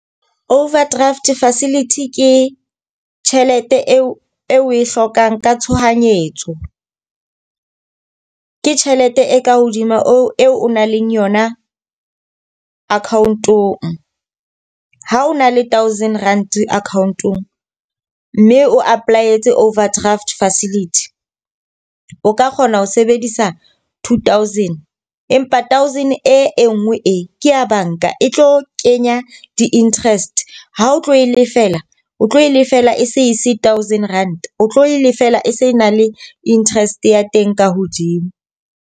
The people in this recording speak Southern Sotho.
Overdraft facility ke tjhelete eo e o e hlokang ka tshohanyetso. Ke tjhelete e ka hodima oo eo o nang leng yona account-ong. Ha o na le thousand Rand account-ong mme o apply-etse overdraft facility. O ka kgona ho sebedisa two thousand empa thousand e e nngwe e ke ya banka e tlo kenya di-interest. Ha o tlo e lefela, o tlo e lefela e se e se thousand Rand, o tlo e lefela e se na le interest ya teng ka hodimo.